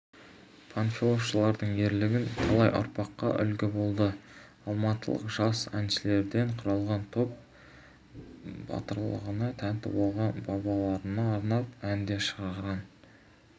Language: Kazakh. панфиловшылардың ерлігі талай ұрпаққа үлгі болды алматылық жас әншілерден құрылған топ батырлығына тәнті болған бабаларына арнап ән де шығарған